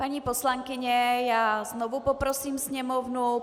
Paní poslankyně, já znovu poprosím sněmovnu.